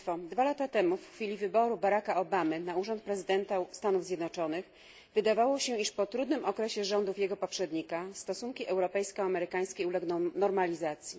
Dwa lata temu, w chwili wyboru Baracka Obamy na urząd prezydenta Stanów Zjednoczonych, wydawało się, że po trudnym okresie rządów jego poprzednika stosunki europejsko amerykańskie ulegną normalizacji.